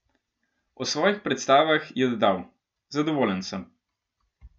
O svojih predstavah je dodal: "Zadovoljen sem.